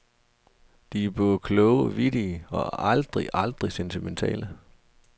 De er både kloge, vittige og aldrig aldrig sentimentale.